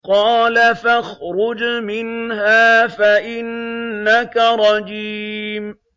قَالَ فَاخْرُجْ مِنْهَا فَإِنَّكَ رَجِيمٌ